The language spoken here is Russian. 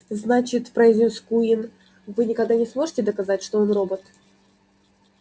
значит произнёс куинн вы никогда не сможете доказать что он робот